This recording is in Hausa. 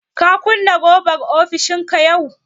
Ka kunna raɓar ofishinka yau?